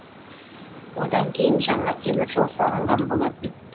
одан кейін жаңа темір жол салынған болатын